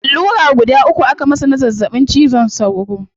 Allura guda uku aka masa na zazzabin cizon saura